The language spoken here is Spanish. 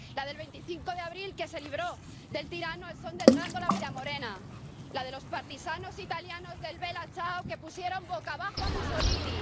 la del 25 de abril que se liberó del tirano al son de Grandôla, Vila Morena la de los partisanos italianos del Bella Ciao que pusieran boca abajo a Mussolini.